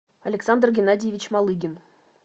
александр геннадьевич малыгин